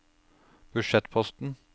budsjettposten